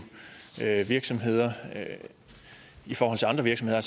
virksomheder i forhold til andre virksomheder